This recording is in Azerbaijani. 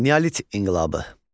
Neolit inqilabı.